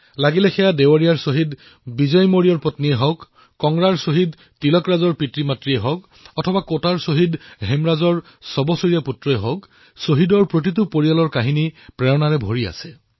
লাগিলে সেয়া দেৱৰিয়াৰ শ্বহীদ মৌৰ্যৰ পৰিয়ালেই হওক কাংগড়াৰ শ্বদীহ তিলকৰাজৰ পিতৃমাতৃয়েই হওক অথবা কোটাৰ শ্বহীদ হেমৰাজৰ ছবছৰীয়া সন্তানেই হওক শ্বহীদৰ প্ৰতিটো পৰিয়ালৰ কাহিনী প্ৰেৰণাদায়ী